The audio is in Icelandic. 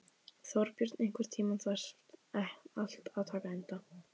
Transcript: Þorbjörn, einhvern tímann þarf allt að taka enda.